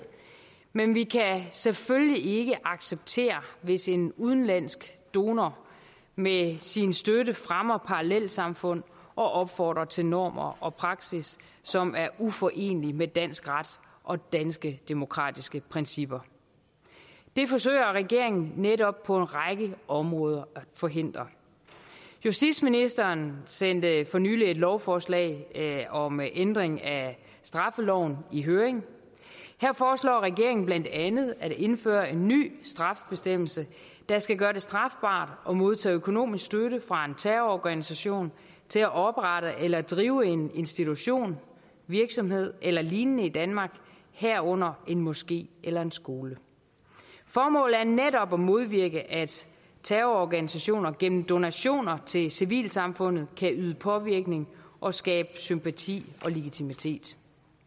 men vi kan selvfølgelig ikke acceptere hvis en udenlandsk donor med sin støtte fremmer parallelsamfund og opfordrer til normer og praksis som er uforenelig med dansk ret og danske demokratiske principper det forsøger regeringen netop på en række områder at forhindre justitsministeren sendte for nylig et lovforslag om ændring af straffeloven i høring her foreslår regeringen blandt andet at indføre en ny straffebestemmelse der skal gøre det strafbart at modtage økonomisk støtte fra en terrororganisation til at oprette eller drive en institution virksomhed eller lignende i danmark herunder en moské eller en skole formålet er netop at modvirke at terrororganisationer gennem donationer til civilsamfundet kan udøve påvirkning og skabe sympati og legitimitet